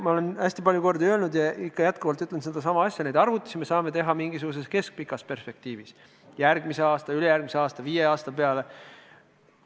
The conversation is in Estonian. Ma olen hästi palju kordi öelnud ja ütlen veel kord, et neid arvutusi me saame teha mingisuguses keskpikas perspektiivis: järgmise aasta, ülejärgmise aasta, viie aasta peale.